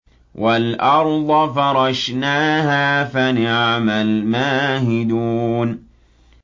وَالْأَرْضَ فَرَشْنَاهَا فَنِعْمَ الْمَاهِدُونَ